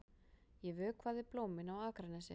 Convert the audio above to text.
Ég vökvaði blómin á Akranesi.